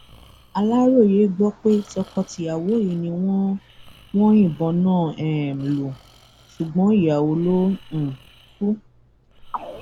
aláròye gbọ pé tọkọtìyàwó yìí ni wọn wọn yìnbọn náà um lù ṣùgbọn ìyàwó ló um kù